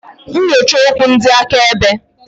Nyochaa okwu ndị akaebe.